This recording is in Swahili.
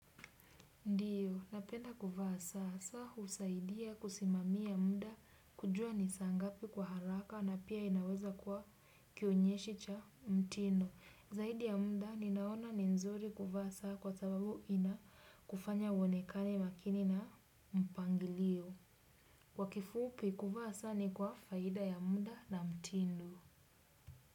Ndiyo, napenda kuvaa saa, saa usaidia kusimamia muda, kujua ni saa ngapi kwa haraka na pia inaweza kuwa kionyesho cha mtindo. Zaidi ya muda, ninaona ni nzuri kuvaa saa kwa sababu inakufanya uonekane makini na mpangilio. Kwa kifupi kuvaa saa ni kwa faida ya muda na mtindo.